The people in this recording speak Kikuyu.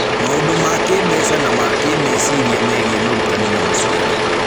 Maũndũ ma kĩĩmbeca na ma kĩĩmeciria megiĩ mũrutani na mũciari